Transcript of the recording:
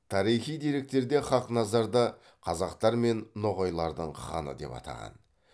тарихи деректерде хақназарда қазақтар мен ноғайлардың ханы деп атаған